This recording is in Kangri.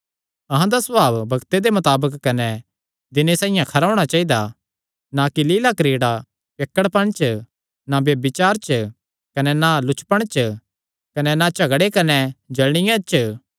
अहां दा सभाव बग्ते दे मताबक कने दिने साइआं खरा होणा चाइदा ना कि लीला क्रीड़ा पियक्कड़पण च ना ब्यभिचार च कने ना लुचपण च कने ना झगड़े कने ना जल़निया च